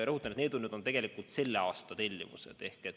Rõhutan, et need on selle aasta tellimused.